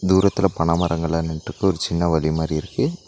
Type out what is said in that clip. தூரத்துல பன மரங்கள்ளா நின்ட்ருக்கு ஒரு சின்ன வழி மாரி இருக்கு.